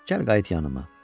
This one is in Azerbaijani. Gəl qayıt yanıma.